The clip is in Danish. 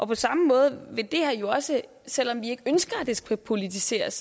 på samme måde vil det her jo også selv om vi ikke ønsker at det skal politiseres